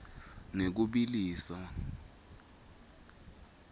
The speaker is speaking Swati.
ngekubiliswa